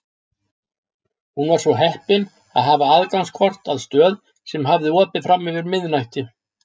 Hún var svo heppin að hafa aðgangskort að stöð sem hafði opið fram yfir miðnætti.